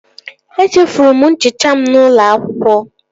Etufuru m nchicha m n'ụlọ akwụkwọ